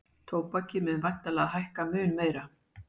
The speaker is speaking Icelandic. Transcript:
Tóbakið mun væntanlega hækka mun meira